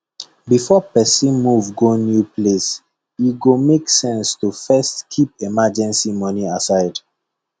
before person move go new place e go make sense to first keep emergency money aside